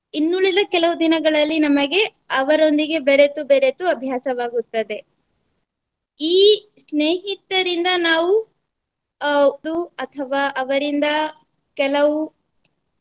ಇನ್ನುಳಿದ ಕೆಲವು ದಿನಗಳಲ್ಲಿ ನಮಗೆ ಅವರೊಂದಿಗೆ ಬೆರೆತು ಬೆರೆತು ಅಭ್ಯಾಸವಾಗುತ್ತದೆ. ಈ ಸ್ನೇಹಿತರಿಂದ ನಾವು ಅಥವಾ ಅವರಿಂದ ಕೆಲವು